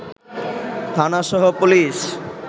থানা সহ পুলিশ